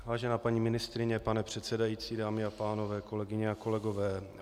Vážená paní ministryně, pane předsedající, dámy a pánové, kolegyně a kolegové.